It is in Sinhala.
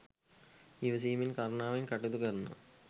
ඉවසීමෙන්, කරුණාවෙන් කටයුතු කරනවා.